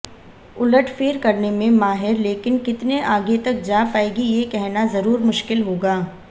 उलटफेर करने में माहिर लेकिन कितने आगे तक जा पायेगी ये कहना जरूर मुश्किल होगा